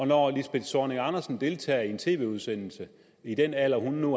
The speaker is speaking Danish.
når lisbeth zornig andersen deltager i en tv udsendelse i den alder hun nu